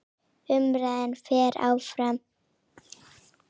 Umræðan fer fram á ensku.